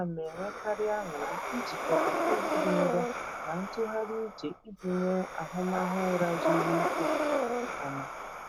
A na m enwekarị anụrị ijikọta egwu dị nro na ntụgharị uche iji nwee ahụmahụ ụra zuru ike nke ọma.